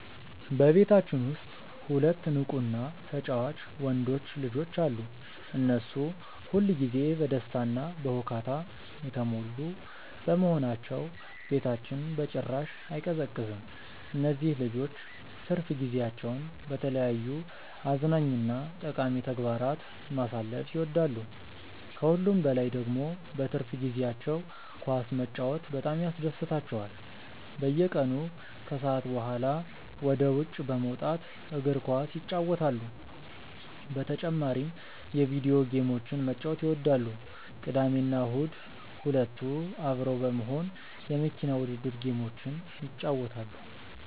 በቤታችን ውስጥ ሁለት ንቁ እና ተጫዋች ወንዶች ልጆች አሉ። እነሱ ሁል ጊዜ በደስታ እና በሁካታ የተሞሉ በመሆናቸው ቤታችን በጭራሽ አይቀዘቅዝም። እነዚህ ልጆች ትርፍ ጊዜያቸውን በተለያዩ አዝናኝ እና ጠቃሚ ተግባራት ማሳለፍ ይወዳሉ። ከሁሉም በላይ ደግሞ በትርፍ ጊዜያቸው ኳስ መጫወት በጣም ያስደስታቸዋል። በየቀኑ ከሰዓት በኋላ ወደ ውጭ በመውጣት እግር ኳስ ይጫወታሉ። በተጨማሪም የቪዲዮ ጌሞችን መጫወት ይወዳሉ። ቅዳሜና እሁድ ሁለቱ አብረው በመሆን የመኪና ውድድር ጌሞችን ይጫወታሉ።